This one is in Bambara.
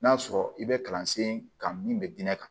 N'a sɔrɔ i bɛ kalansen kan min bɛ diinɛ kan